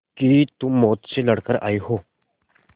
कि तुम मौत से लड़कर आयी हो